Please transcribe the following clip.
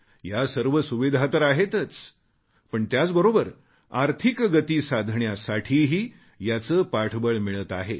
या सर्व सुविधा तर आहेतच पण त्याचबोरबर आर्थिक गती साधण्यासाठीही याचे पाठबळ मिळत आहे